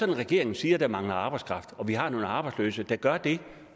regeringen siger at der mangler arbejdskraft og vi har nogle arbejdsløse der gør det